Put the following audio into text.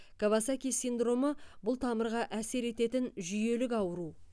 кавасаки синдромы бұл тамырға әсер ететін жүйелік ауру